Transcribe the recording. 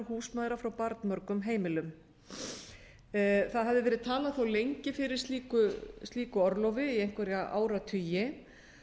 húsmæðra frá barnmörgum heimilum þá hafði verið talað þá lengi fyrir slíku orlofi í einhverja áratugi